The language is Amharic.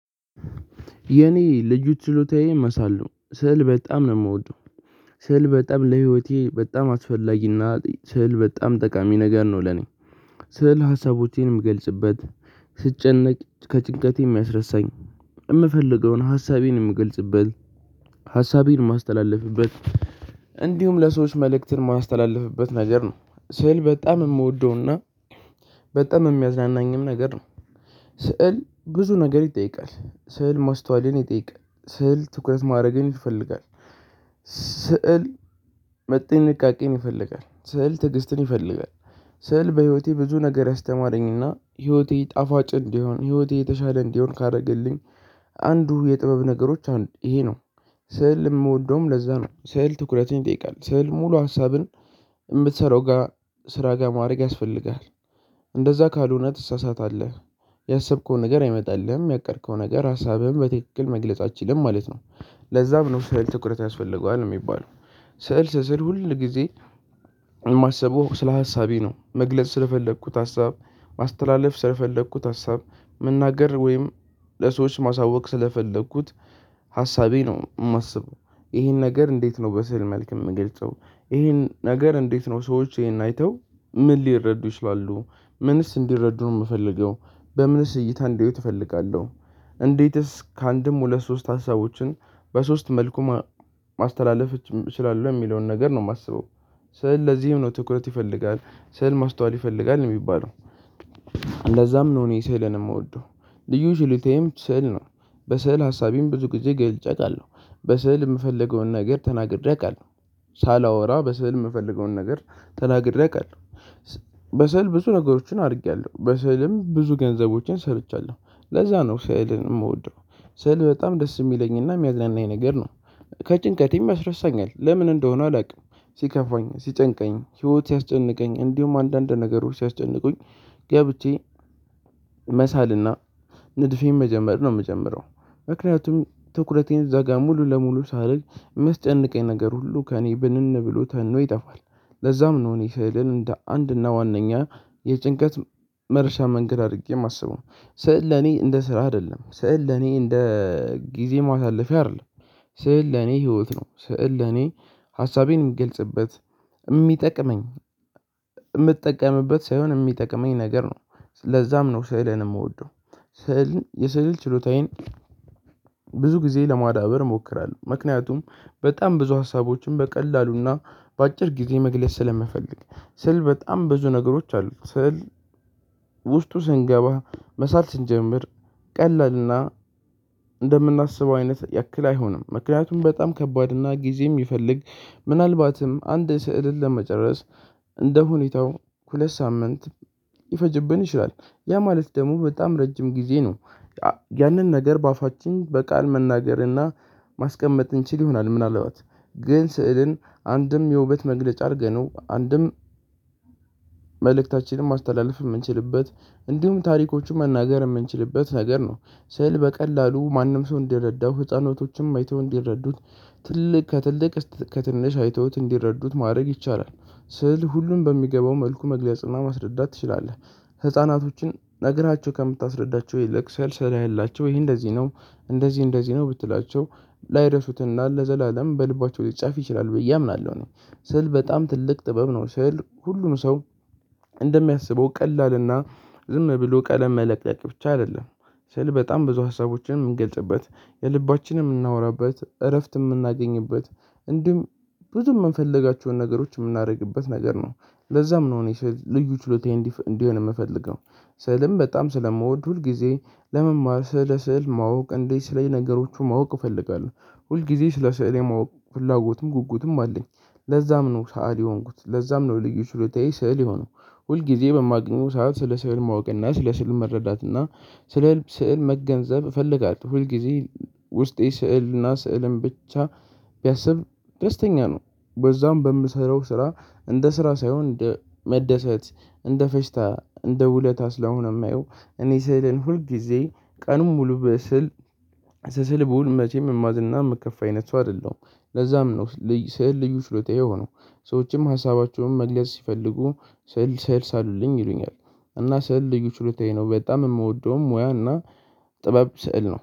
የኔ ልዩ ችሎታዬ መሳል ነው ስዕል በጣም ነው የምወደው። ስዕል በጣም ለህይወቴ በጣም አስፈላጊና ስዕል በጣም ጠቃሚ ነገር ነው ለኔ። ስዕል ሀሳቦቼን የምገልጽበት። ከጭንቀቴ የሚያስረሳኝ የምፈልገውን ሀሳቤን የምገልጽበት ሀሳቤን የማስተላለፍበት እንዲሁም ለሰዎች መልእክትን የማስተላልፍበት ነገር ነው። ስዕል በጣም የምወደውና በጣም የሚያዝናናኝም ነገር ነው። ስዕል ብዙ ነገር ይጠይቃል ስዕል ማስተዋልን ይጠይቃል ስዕል ትኩረት ማድረግን ይፈልጋል። ስዕል ጥንቃቄን ይፈልጋል ስዕል ትዕግስትን ይፈልጋል። ስዕል በህይወቴ ብዙ ነገር ያስተማረኝና ህይወቴ ጣፋጭ እንዲሆን ህይወቴ የተሻለ እንዲሆን ካረገልኝ አንዱ የጥበብ ነገሮች አንዱ ይሄ ነው። ስዕል የምወደውም ለዛ ነው። ስዕል ትኩረቱን ይጠይቃል ስዕል ሙሉ ሀሳብን የምትሰራው ስራ ጋር ማድረግን ይፈልጋል እንደዛ ካልሆነ ትሳሳታለህ። ያሰብከው ነገር አይመጣልህም ያቀድከው ነገር ሀሳብህን በትክክል መግለጽ አትችልም ማለት ነው። ለዛም ነው ስዕል ትኩረት ያስፈልገዋል የሚባለው። ስዕል ስስል ሁል ጊዜ የማሰበው ስለ ሀሳቤ ነው መግለጽ ስለፈለኩት ሀሳብ ማስተላለፍ ስለፈለኩት ሀሳብ መናገር ወይም ለሰዎች ማሳወቅ ስለፈለኩት ሀሳቤ ነው የማስበው። ይሄን ነገር እንዴት ነው በስዕል መልክ የምገልጸው? ይሄን ነገር እንዴትስ ነው ሰዎች ይሄን አይተው ምን ሊረዱ ይችላሉ? ምንስ እንዲረዱ ነው የምፈልገው? በምንስ እይታ እንደሆነ እፈልጋለሁ? እንዴትስ ካአንድም ሁለት ሶስት ሀሳቦችን በሶስት መልኩ ማስተላለፍ እችላለሁ የሚለውን ነገር ነው የማስበው። ስዕል ለዚህም ነው ትኩረት ይፈልጋል ስዕል ማስተዋልን ይፈልጋል የሚባለው። ለዛም ነው እኔ ስዕልን የምወደው ልዩ ችሎታዬም ስዕል ነው። በስዕል ሀሳቤንም ብዙ ጊዜ ገልጬ አውቃለሁ በስዕል የምፈልገውን ነገር ተናግሬ አውቃለሁ ሳላወራ በስዕል የምፈልገውን ነገር ተናግሬ አውቃለሁ። በስዕል ብዙ ነገሮችን አድርጌያለሁ በስዕልም ብዙ ገንዘቦችን ሰርቻለሁ ለዛ ነው ስዕልን የምወደው። ስዕል በጣም ደስ የሚለኝና የሚያዝናናኝ ነገር ነው። ከጭንቀቴም ያስረሳኛል ለምን እንደሆነ አላውቅም። ሲከፋኝ ሲጨንቀኝ ህይወት ሲያስጨንቀኝ እንዲሁም አንዳንድ ነገሮች ሲያስጨንቁኝ ገብቼ መሳልና ንድፌን መጀመር ነው የምጀምረው። ምክንያቱም ትኩረቴን እዛ ጋር ሙሉ ለሙሉ ሳደርግ የሚያስጨንቀኝ ነገር ሁሉ ከእኔ ብንን ብሎ ተኖ ይጠፋል። ለዛም ነው እኔ ስዕልን እንደ አንድና ዋናኛ የጭንቀት መርሻ መንገድ አድርጌ የማስበው። ስዕል ለኔ እንደ ስራ አይደለም ስዕል ለኔ እንደ ጊዜ ማሳለፊያ አይደለም። ስዕል ለኔ ህይወት ነው። ስዕል ለኔ ሀሳቤን የምገልጽበት የሚጠቅመኝ የምትጠቀምበት ሳይሆን የሚጠቅመኝ ነገር ነው። ለዛም ነው ስዕልን የምወደው ስዕል የስዕል ችሎታዬን ብዙ ጊዜ ለማዳበር እሞክራለሁ። ምክንያቱም በጣም ብዙ ሀሳቦችን በቀላሉና በአጭር ጊዜ መግለጽ ስለምፈልግ። ስዕል በጣም ብዙ ነገሮች አሉት። ስዕል ውስጡ ስንገባ መሳል ስንጀምር ቀለልና እንደምናስበው አይነት ያክል አይሆንም ምክንያቱም በጣም ከባድ እና ጊዜም ይፈልግ። ምናልባትም አንድ ስዕልን ለመጨረስ እንደሁኔታው ሁለት ሳምንት ሊፈጅብን ይችላል ያ ማለት ደግሞ በጣም ረጅም ጊዜ ነው። ያንን ነገር በአፋችን በቃል መናገር እና ማስቀመጥ እንችል ይሆናል ምናልባት ግን ስዕልን አንድም የውበት መግለጫ አድርገነው አንድም መልእክታችንን ማስተላለፍ የምንችልበት እንዲሁም ታሪኮችን መናገር የምንችልበት ነገር ነው። ስዕል በቀላሉ ማንም ሰው እንዲረዳው ህፃናቶችም አይተው እንዲረዱት ከትልቅእስከ ትንሽ አይተውት እንዲረዱት ማድረግ ይቻላል። ስዕል ሁሉም በሚገባው መልኩ መግለጽና ማስረዳት ትችላለህ ህፃናቶችን ነግረሀቸው ከምታስረዳቸው ይልቅ ስዕል ስለህላቸው ይሄ እንደዚህ ነው። እንደዚህ እንደዚህ ነው ብትላቸው ላይረሱትና ለዘላለም በልባቸው ሊጻፍ ይችላል ብዬ አምናለሁ። እኔ ስል በጣም ትልቅ ጥበብ ነው ስል ሁሉም ሰው እንደሚያስበው ቀላልና ዝም ብሎ ቀለም መለቀቅ ብቻ አይደለም። ስል በጣም ብዙ ሀሳቦችን የምንገልጽበት የልባችንን የምናወራበት እረፍት የምናገኝበት እንዲህም ብዙ የምንፈልጋቸውን ነገሮች የምናደርግበት ነገር ነው። ለዛም ነው እኔ ልዩ ችሎታዬ እንዲሆን የምፈልገው። ስዕልም በጣም ስለምወድ ሁል ጊዜ ለመማር ስለ ስዕል ማወቅ እንዴት ስለዚህ ነገሮቹ ማወቅ እፈልጋለሁ። ሁል ጊዜ ስለ ስዕል የማወቅ ፍላጎትም ጉጉትም አለኝ። ለዛም ነው ሰአሊ የሆንኩት ለዛም ነው ልዩ ችሎታዬ ስዕል የሆነው። ሁል ጊዜ በማግኘው ሰዓት ስለ ስዕል ማወቅ እና ስለ ስዕል መረዳት እና ስለ ስዕል መገንዘብ እፈልጋለሁ። ሁል ጊዜ ውስጤ ስዕልና ስዕልን ብቻ ቢያስብ ደስተኛ ነው። በዛም በምሰራው ስራ እንደ ስራ ሳይሆን እንደ መደሰት እንደ ፌሽታ እንደ ውለታ ስለሆነ የማየው። እኔ ስዕልን ሁል ጊዜ ቀኑን ሙሉ ብስል ስስል ብውል መቼም የማዝንና የምከፋ አይነት ሰው አይደለሁም። ለዛም ነው ስዕል ልዩ ችሎታዬ የሆነው። ሰዎችም ሀሳባቸውን መግለጽ ሲፈልጉ ስዕል ሳልልኝ ይሉኛል። እና ስዕል ልዩ ችሎታዬ ነው በጣም የምወደውም ሙያና ጥበብ ስዕል ነው